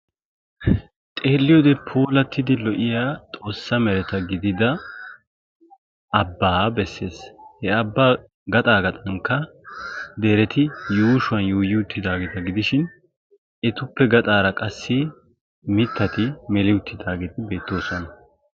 Xeelliyode puulattidi lo''iya xoossa mereta gidida Abbaa bessees. He abbaa gaxaa yuushuwanikka dereti yuuyi uttidaageeta gidishin, etappe gaxaara qassi mittati meli uttaageeti beettoosona.